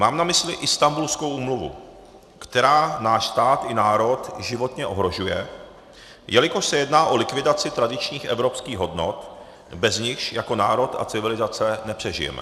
Mám na mysli Instanbulskou úmluvu, která náš stát i národ životně ohrožuje, jelikož se jedná o likvidaci tradičních evropských hodnot, bez nichž jako národ a civilizace nepřežijeme.